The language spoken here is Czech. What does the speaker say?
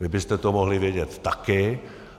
Vy byste to mohli vědět taky.